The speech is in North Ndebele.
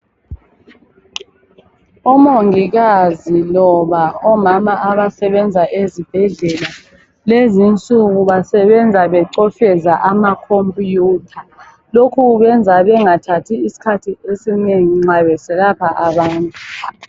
Omongikazi loba omama abasebenza ezibhedlela, kulezi insuku, basebenza becopheza amacomputer. Lokhu kubenza bangathathi isikhathi esinengi nxa beselapha abantu.